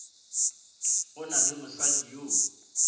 go na le mosadi yo